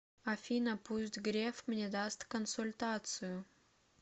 афина пусть греф мне даст консультацию